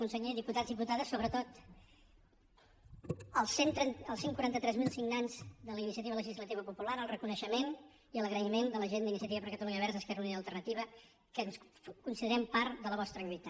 conseller diputats diputades so·bretot als cent i quaranta tres mil signants de la iniciativa legislativa popular el reconeixement i l’agraïment de la gent d’ini·ciativa per catalunya verds · esquerra unida i al·ternativa que ens considerem part de la vostra lluita